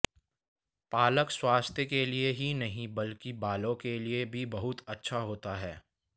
पालक स्वास्थ्य के लिए ही नहीं बल्कि बालों के लिए भी बहुत अच्छा होता है